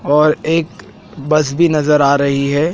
और एक बस भी नजर आ रही है।